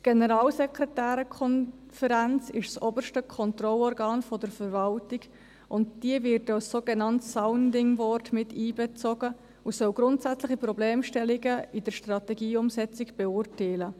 Die Generalsekretärenkonferenz ist das oberste Kontrollorgan der Verwaltung, und diese wird als sogenanntes Sounding Board miteinbezogen und soll grundsätzliche Problemstellungen in der Strategieumsetzung beurteilen.